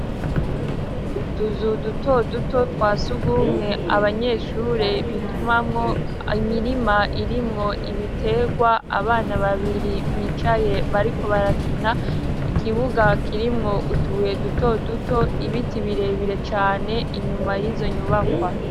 Utuzu duto duto twasugwumwe abanyeshure bitumamwo, imirima irimwo ibitegwa, abana babiri bicaye bariko barakina, ikibuga kirimwo utubuye duto duto, ibiti birebire cane inyuma y'izo nyubakwa.